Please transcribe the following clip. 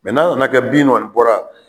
nan'a kɛ bin kɔni bɔra